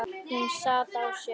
Hún sat á sér.